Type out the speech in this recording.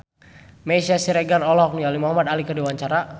Meisya Siregar olohok ningali Muhamad Ali keur diwawancara